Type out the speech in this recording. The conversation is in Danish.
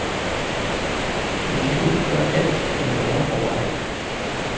Vi kan ikke gøre alt eller være overalt.